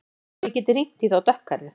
Svo ég geti hringt í þá dökkhærðu.